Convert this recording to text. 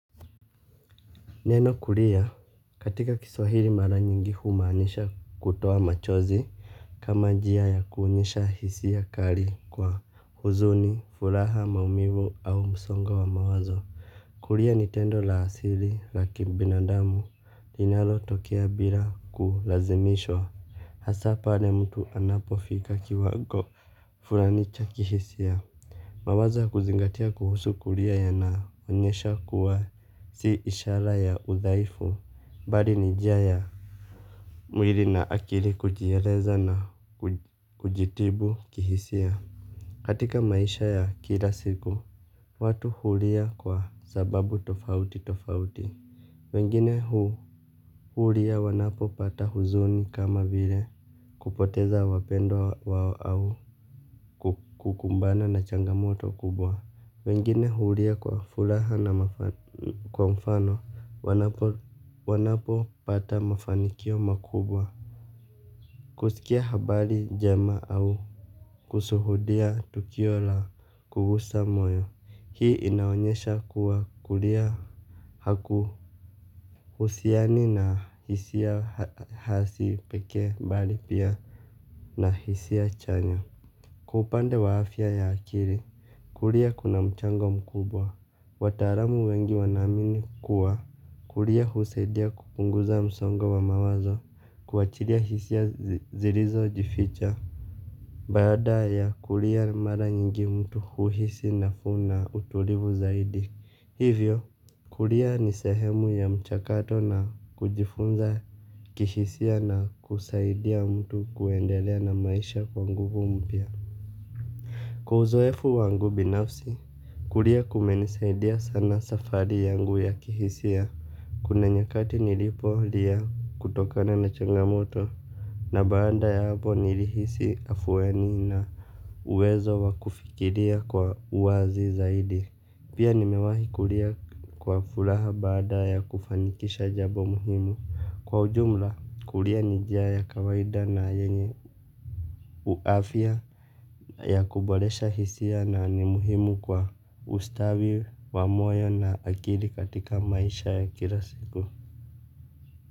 Neno kulia katika kiswahili mara nyingi humaanisha kutoa machozi. Kama njia ya kuonyesha hisia kali kwa huzuni furaha maumivu au msongo wa mawazo kulia ni tendo la asili la kibinadamu linalotokea bila kulazimishwa hasaa pale mtu anapofika kiwago fulani cha hisia. Mawazo ya kuzingatia kuhusu kulia yanaonyesha kuwa si ishara ya udhaifu mbali ni njia ya mwili na akili kujieleza na kujitibu kihisia. Katika maisha ya kila siku, watu hulia kwa sababu tofauti tofauti. Wengine hulia wanapopata huzuni kama vile kupoteza wapendwa wao au kukumbana na changamoto kubwa. Wengine hulia kwa furaha na kwa mfano, wanapopata mafanikio makubwa. Kusikia habari njema au kushuhudia tukio la kugusa moyo, hii inaonyesha kuwa kulia haku husiani na hisia hasi pekee mbali pia na hisia chanya. Kwa upande wa afya ya akili kulia kuna mchango mkubwa. Wataalam wengi wanaamini kuwa, kulia husaidia kupunguza msongo wa mawazo, kuachilia hisia zilizoificha. Baada ya kulia mara nyingi mtu huhisi nafuu na utulivu zaidi. Hivyo, kulia ni sehemu ya mchakato na kujifunza kishisia na kusaidia mtu kuendelea na maisha kwa nguvu mpya. Kwa uzoefu wangu binafsi, kulia kumenisaidia sana safari yangu ya kihisia. Kuna nyakati nilipolia kutokana na changamoto na baada ya hapo nilihisi afueni na uwezo wa kufikiria kwa uwazi zaidi. Pia nimewahi kulia kwa furaha baada ya kufanikisha jambo muhimu. Kwa ujumla, kulia ni njia ya kawaida na yenye uafya ya kuboresha hisia na ni muhimu kwa ustawi wa moyo na akili katika maisha ya kila siku.